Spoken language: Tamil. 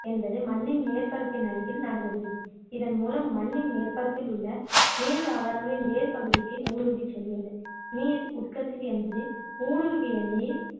என்பது மண்ணின் மேற்பரப்பில் அருகில் நடைபெறுகிறது இதன்மூலம் மண்ணின் மேற்பரப்பில் உள்ள நீர்தாவரங்களின் வேர்பகுதிக்கு ஊடுருவி செல்கிறது நீர் உட்கசிவு என்பது ஊடுருவிய நீர்